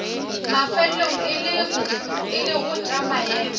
mafelelong e lego tša maemo